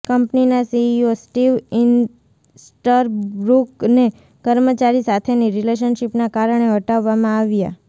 કંપનીના CEO Steve ઈસ્ટરબ્રૂકને કર્મચારી સાથેની રિલેશનશિપના કારણે હટાવવામાં આવ્યા